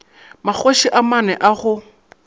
magoši a mane a go